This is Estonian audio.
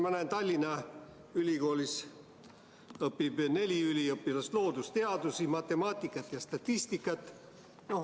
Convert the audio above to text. Ma näen, et Tallinna Ülikoolis õpib neli üliõpilast loodusteadusi, matemaatikat ja statistikat.